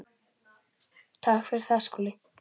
Takk fyrir það, Skúli.